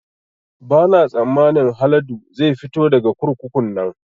Ba na tsammanin Haladu zai fito daga kurkukun nan